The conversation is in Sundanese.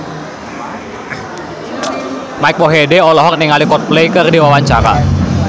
Mike Mohede olohok ningali Coldplay keur diwawancara